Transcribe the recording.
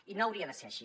i no hauria de ser així